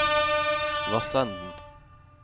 Vassenden